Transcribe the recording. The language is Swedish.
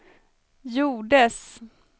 gjordes